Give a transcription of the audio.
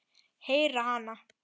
Heyri hana.